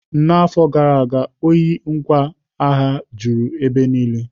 N'afọ gara aga, ohi ngwa agha juru ebe niile.